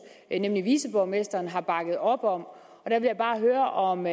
nemlig viceborgmesteren har bakket op om jeg vil bare høre om